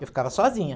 Eu ficava sozinha.